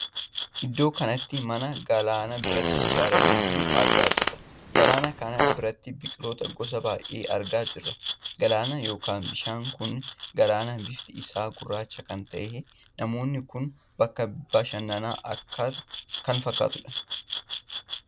Iddoo kanatti mana galaanaa biratti ijaaramee jiruu argaa jirra. galanaa kana biratti biqiloota gosa baay'ee argaa jira. galaanni ykn bishaan kun galaana bifti isa gurraacha kan taheedha. naannoon kun bakka bashannaa kan fakkaatudha.